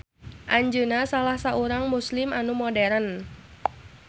Anjeunna salah saurang Muslim anu modern